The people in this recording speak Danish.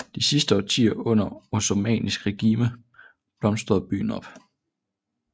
De sidste årtier under osmannisk regime blomstrede byen op